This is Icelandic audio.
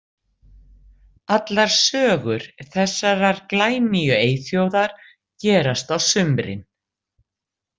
Allar sögur þessarar glænýju eyþjóðar gerast á sumrin.